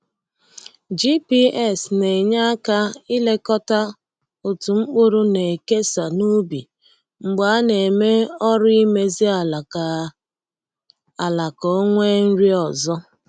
GPS na-enye aka ilekọta otú mkpụrụ na-ekesa n’ubi mgbe a na-eme ọrụ imezi ala ka ala ka o nwee nri ọzọ.